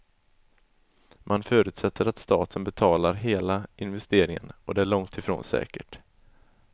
Man förutsätter att staten betalar hela investeringen och det är långt ifrån säkert.